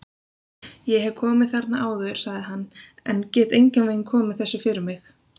Ég hef komið þarna áður sagði hann, en get engan veginn komið þessu fyrir mig